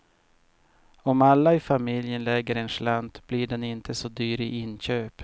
Om alla i familjen lägger en slant blir den inte så dyr i inköp.